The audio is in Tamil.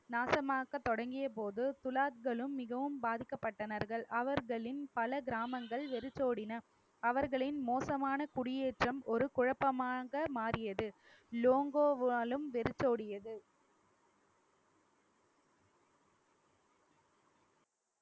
நாசமாக்க தொடங்கிய போது துலாக்களும் மிகவும் பாதிக்கப்பட்டனர்கள் அவர்களின் பல கிராமங்கள் வெறிச்சோடின அவர்களின் மோசமான குடியேற்றம் ஒரு குழப்பமாக மாறியது லோங்கோவாலும் வெறிச்சோடியது